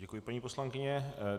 Děkuji, paní poslankyně.